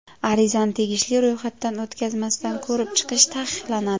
Arizani tegishli ro‘yxatdan o‘tkazmasdan ko‘rib chiqish taqiqlanadi.